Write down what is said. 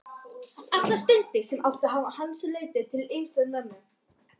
Allar stundir, sem hann átti utan hans, notaði hann til að styðja mömmu.